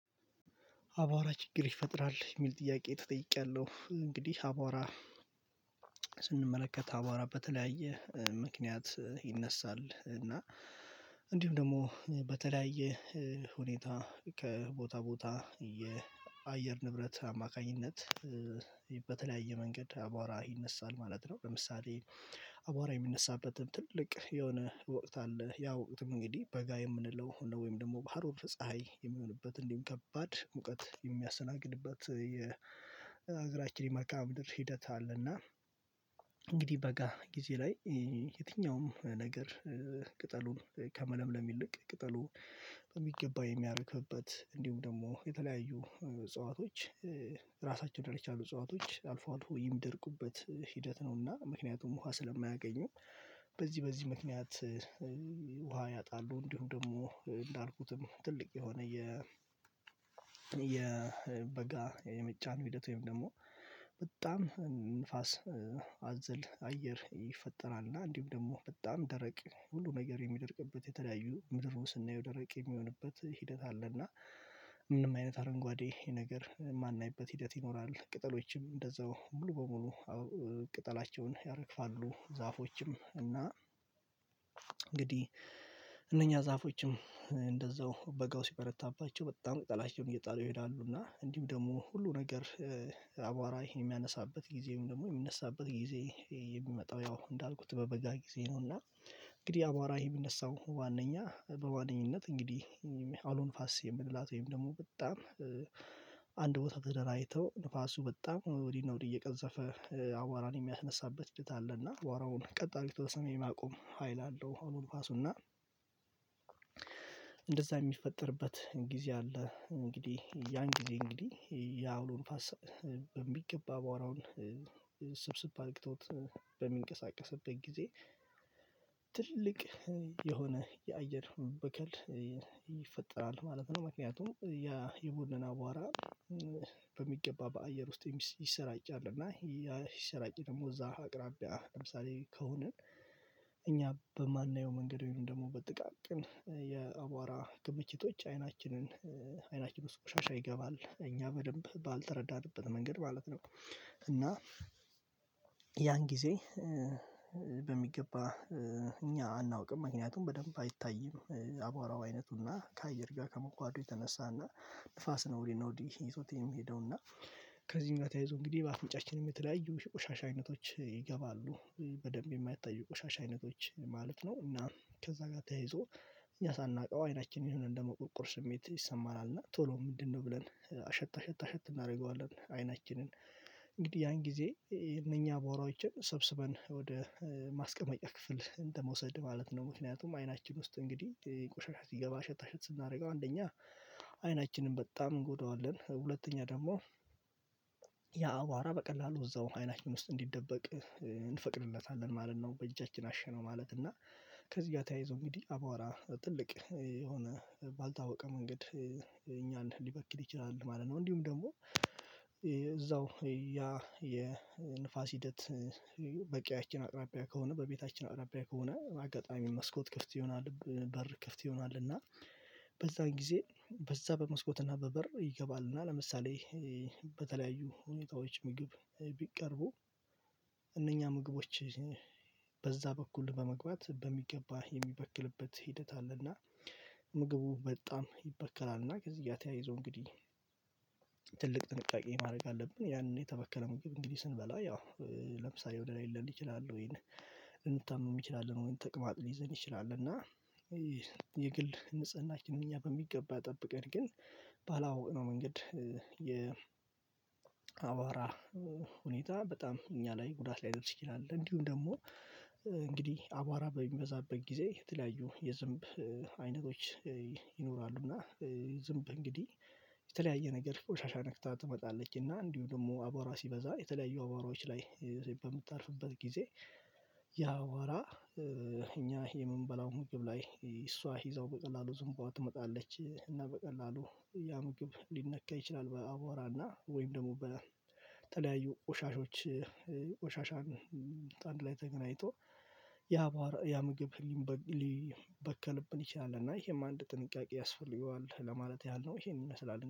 አቧራ ችግር ይፈጥራል? የሚል ጥያቄ ተጠይቄያለሁ እንግዲህ አቧራ ስንመለከት አቧራ በተለያየ ምክንያት ይነሳል እና እንዲሁም ደግሞ በተለያየ ሁኔታ ከቦታ ቦታ የአየር ንብረት አማካኝነት መንገድ አቧራ ይነሳል ማለት ነው ለምሳሌ አቧራ የሚነሣበትን ትልቅ የሆነ ወቅት አለ ያው ወቅትም እንግዲህ በጋ የምንለው ወይም ደግሞ በሀሩር ፀሀይ የሚሆንበት እንዲህም ከባድ ሙቀት የሚያስተናግድበት የአገራችን የመልካም ምድር ሂደት አለና እንግዲህ በጋ ጊዜ ላይ የትኛውም ነገር ቅጠሉን ከመለምለም ይልቅ ቅጠሉን የሚያደርግበት እንዲሁም ደግሞ የተለያዩ እጽዋቶች ራሳቸውን ደረጃ የቻሉ እጽዋቶች አልፎ አልፎ የሚደርቁበት ሂደት ነውና ምክንያቱም ውሃ ስለማያገኙ በዚህ በዚህ ምክንያት ውሃ ያጣሉ እንዲሁም ደግሞ እንዳልኩትም ትልቅ የሆነ የ የበጋ የመጫን ሂደት ወይም ደግሞ በጣም ንፋስ አዘል አየር ይፈጠራል እና እንዲሁ ደግሞ በጣም ደረቅ ሁሉ ነገር የሚደርቅበት የተለያዩ ምድር ስናየው ደረቅ የሚሆንበት ሂደት አለ እና ምንም አይነት አረንጓዴ ነገር የማናይበት ሂደት ይኖራል ቅጠሎችም እንደዛው ሙሉ በሙሉ ቅጠላቸውን ያረግፋሉ ዛፎችም እና እንግዲህ እነኛ ዛፎችም እንደዛው በጋው ሲበረታባቸው በጣም ቅጠላቸውን እየጣሉ ይሄዳሉ እና እንዲሁ ደግሞ ሁሉ ነገር አቧራ ይሄን የሚያነሣበት ጊዜም ደግሞ የሚነሳበት ጊዜ የሚመጣው ያው እንዳልኩት በበጋ ጊዜ ነውና እንግዲህ አቧራ ይሄ የሚነሳው ዋናኛ በዋነኝነት እንግዲህ አውሎ ነፋስ የምንላት ወይም ደግሞ በጣም አንድ ቦታ ተደራጅተው ነፋሱ በጣም ወዲህ ነው ወዲህ እየቀዘፈ አቧራን የሚያስነሣበት ሂደት አለ እና አቧራውን ቀጥ አድርጎ ወደ ሰማይ የማቆም ሀይል አለው አሁን ነፋሱና እንደዛ የሚፈጠርበት ጊዜ አለ እንግዲህ ያን ጊዜ እንግዲህ የአውሎ ነፋስ የሚገባ አቧራውን ሰብሰብ አርግቶት በሚንቀሳቀስበት ጊዜ ትልቅ የሆነ የአየር ብክለት ይፈጠራል ማለት ነው ምክንያቱም ያ የቡድን አቧራ በሚገባ በአየር ውስጥ ይሰራጫል እና ይሰራጭ ደግሞ እዛ አቅራቢያ ለምሳሌ ከሆነ እኛ በማናየው መንገድ ወይም ደግሞ በጥቃቅን የአቧራ ክምችቶች አይናችንን አይናችን ውስጥ ቆሻሻ ይገባል እኛ በደንብ ባልተረዳንበት መንገድ ማለት ነው እና ያን ጊዜ በሚገባ እኛ አናውቅም ምክንያቱም በደንብ አይታይም አቧራው አይነቱና ከአየር ጋር ከመመዋሐዱ የተነሣና ንፋስ ነው ወዲህ ነው ወዲህ ይዞት የሚ ሄደውና ከዚህም ጋር ተያይዞ እንግዲህ በአፍንጫችን የተለያዩ የቆሻሻ አይነቶች ይገባሉ በደንብ የማይታዩ ቆሻሻ አይነቶች ማለት ነው እና ከዛ ጋር ተይዞ እኛ ሳናውቀው አይናችን የሆነ እንደመቁርቁር ስሜት ይሰማናል እና ቶሎ ምንድነው ብለን አሸታ አሸታ አሸት እናደርገዋለን አይናችንን እንግዲህ ያን ጊዜ እነኛ አቧራዎችን ሰብስበን ወደ ማስቀመጫ ክፍል እንደመውሰድ ማለት ነው ምክንያቱም አይናችን ውስጥ እንግዲህ ቆሻሻ ሲገባ አሸት አሸት ስናደርገው አንደኛ አይናችንን በጣም እንጎዳዋለን ሁለተኛ ደግሞ ያ አቧራ በቀላሉ እዛው አይናችን ውስጥ እንዲደበቅ እንፈቅድለታለን ማለት ነው በእጃችን አሸነው ማለት እና ከዚህ ጋር ተያይዞ እንግዲህ አቧራ ትልቅ የሆነ ባልታወቀ መንገድ እኛን ሊበክል ይችላል ማለት ነው እንዲሁም ደግሞ እዛው ያ የንፋስ ሂደት በቂያችን አቅራቢያ ከሆነ በቤታችን አቅራቢያ ከሆነ አጋጣሚ መስኮት ክፍት ይሆናል በር ክፍት ይሆናል እና በዛ ጊዜ በዛ በመስኮትና በበር ይገባልና ለምሳሌ በተለያዩ ሁኔታዎች ምግብ ቢቀርቡ እነኛ ምግቦች በዛ በኩል በመግባት በሚገባ የሚበክልበት ሂደት አለና ምግቡ በጣም ይበከላልና ከዚህ ጋር ተያይዞ እንግዲህ ጥንቃቄ ማድረግ አለብን ያንን የተበከለ ምግብ እንግዲህ ስንበላ ያው ለምሳሌ ወደ ላይ ሊለን ይችላል ወይን እንታመም ይችላል ወይን ተቅማጥ ሊይዘን ይችላል እና የግል ንጽህናችን እኛ በሚገባ ጠብቀን ግን ባላወቅነው መንገድ የ አቧራ ሁኔታ በጣም እኛ ላይ ጉዳት ላይ ደርሼ አለ እንዲሁም ደግሞ እንግዲህ አቧራ በሚበዛበት ጊዜ የተለያዩ የዝንብ አይነቶች ይኖራሉ እና ዝንብ እንግዲህ የተለያየ ነገር ቆሻሻ ነክታ ትመጣለችና እንዲሁ ደግሞ አቧራ ሲበዛ የተለያየ አቧራዎች ላይ በምታርፉበት ጊዜ ያ አቧራ እኛ የምንበላው ምግብ ላይ እሷ ይዘው በቀላሉ ዝምቧ ትመጣለች እና በቀላሉ ያ ምግብ ሊነካ ይችላል በአቧራ እና ወይም ደግሞ በተለያዩ ቆሻሾችን ቆሻሻን አንድ ላይ ተገናኝቶ ያ ያ ምግብ ሊ ሊበከልብን ይችላል እና ይሄም አንድ ጥንቃቄ ያስፈልገዋል ለማለት ያህል ነው ይሄን ይመስላል